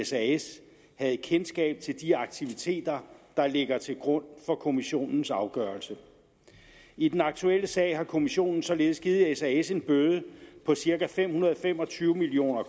sas havde kendskab til de aktiviteter der ligger til grund for kommissionens afgørelse i den aktuelle sag har kommissionen således givet sas en bøde på cirka fem hundrede og fem og tyve million